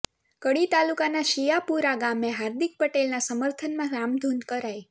કડી તાલુકાના શીયાપુરા ગામે હાર્દિક પટેલના સમર્થનમાં રામધૂન કરાઇ